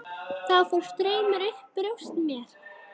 Þá fór straumur um brjóst mér.